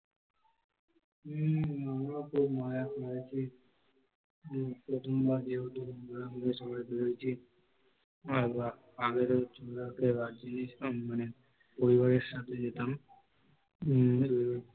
হম আমরাও খুব মজা করেছি, প্রথমবার যেহেতু বন্ধুরা মিলে সবাই মিলে ঘুরেছি আগের বার গেছিলাম মানে পরিবারের সাথে যেতাম উম